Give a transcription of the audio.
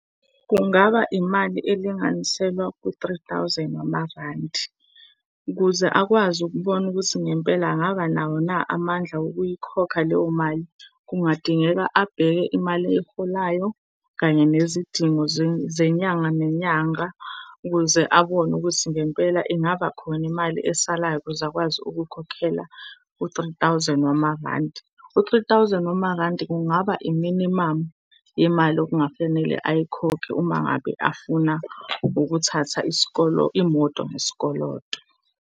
Kungaba imali elinganiselwa ku-three thousand wamarandi. Ukuze akwazi ukubona ukuthi ngempela angaba nawo na amandla okuyikhokha leyo mali, kungadingeka abheke imali eyiholayo kanye nezidingo zenyanga nenyanga ukuze abone ukuthi ngempela ingaba khona imali esalayo ukuze akwazi ukukhokhela u-three thousand wamarandi. U-three thousand wamarandi kungaba iminimamu yemali okungafanele ayikhokhi uma ngabe afuna ukuthatha imoto ngesikoloto.